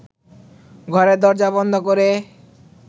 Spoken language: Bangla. ঘরের দরজা বন্ধ করে